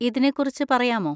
ഇതിനെ കുറിച്ച് പറയാമോ?